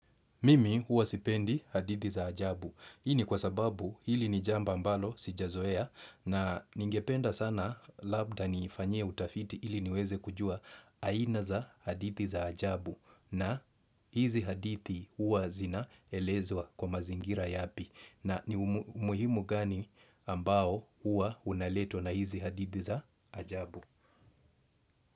Mimi huwa sipendi hadithi za ajabu. Hii ni kwa sababu hili ni jambo ambalo sijazoea, na ningependa sana labda niifanyie utafiti ili niweze kujua aina za hadithi za ajabu na hizi hadithi, huwa zinaelezwa kwa mazingira yapi, na ni umuhimu gani ambao huwa unaletwa na hizi hadithi za ajabu.